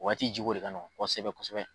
O Waati ji ko de ka nɔgɔ kosɛbɛ kosɛbɛ.